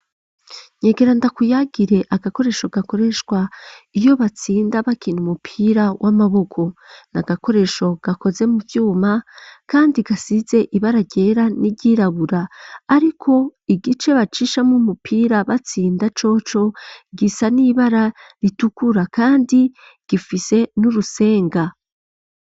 Nyegera ndakuyagire agakoresho gakoreshwa iyo batsinda bakina umupira w'amaboko ni agakoresho gakoze mu vyuma, kandi gasize ibara ryera n'iryirabura, ariko igice bacishamo umupira batsinda coco gisa n'ibara ritukura, kandi gifise n'urusenga.